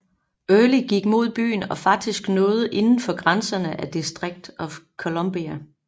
Early gik mod byen og faktisk nåede inden for grænserne af District of Columbia